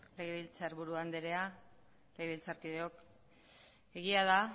legebiltzarburu andrea legebiltzar kideok egia da